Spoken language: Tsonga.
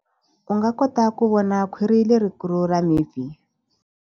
U nga kota ku vona khwiri lerikulu ra mipfi.